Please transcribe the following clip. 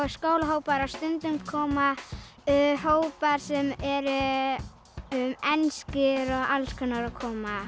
skólahópar og stundum koma hópar sem eru enskir og alls konar að koma